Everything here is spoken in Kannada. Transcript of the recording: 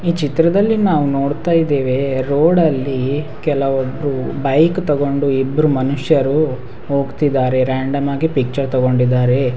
ಈ ಚಿತ್ರದಲ್ಲಿ ನಾವು ನೋಡ್ತಾ ಇದೇವೆ ರೋಡಲ್ಲಿ ಕೆಲವರು ಬೈಕ್ ತಕೊಂಡು ಇಬ್ರು ಮನುಷ್ಯರು ಹೋಗ್ತಿದ್ದಾರೆ ರೇಂಡಮ್ ಆಗಿ ಪಿಚ್ಚರ್ ತಕೊಂಡಿದ್ದಾರೆ.